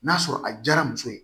N'a sɔrɔ a diyara muso ye